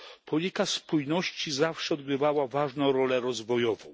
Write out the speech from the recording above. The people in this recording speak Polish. Polityka spójności zawsze odgrywała ważną rolę rozwojową.